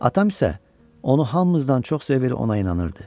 Atam isə onu hamımızdan çox sevir, ona inanırdı.